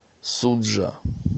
суджа